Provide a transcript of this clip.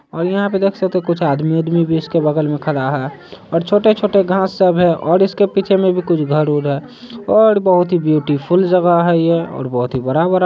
और यहाँ पे देख सकते है कुछ आदमी-वादमी भी इसके बगल में खड़ा है और छोटे-छोटे घास सब है और इसके पीछे में भी कुछ घर-उर है और बहुत ही ब्यूटीफुल जगह है यह और बहुत ही बड़ा-बड़ा --